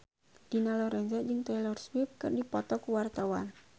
Dina Lorenza jeung Taylor Swift keur dipoto ku wartawan